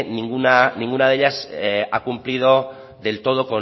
ninguna de ellas ha cumplido del todo